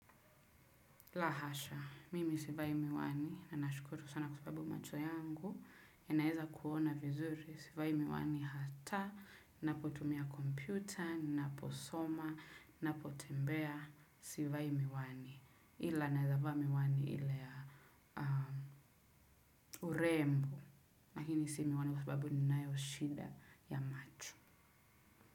La hasha, mimi sivai miwani, nanashukuru sana kwa sababu macho yangu, yanaeza kuona vizuri, sivai miwani hata, napotumia kompyuta, naposoma, napotembea, sivai miwani. Ila naeza vaa miwani ile ya urembo, lakini si miwani kwa sababu ninayo shida ya macho.